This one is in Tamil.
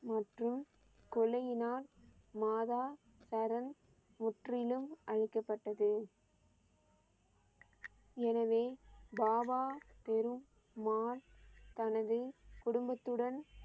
மற்றும் கொலையினால் மாதா கரன் முற்றிலும் அளிக்கபட்டது. எனவே, பாபா பெருமாள் தனது குடும்பத்துடன்